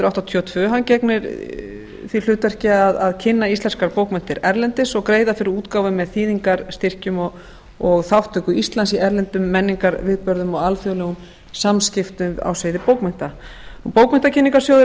áttatíu og tvö hann gegnir því hlutverki að kynningu íslenskra bókmennta erlendis og greiða fyrir útgáfu með þýðingarstyrkjum með þátttöku íslands í erlendum menningarviðburðum og alþjóðlegum samskiptum á sviði bókmennta bókmenntakynningarsjóður